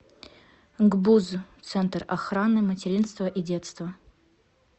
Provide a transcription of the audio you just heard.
гбуз центр охраны материнства и детства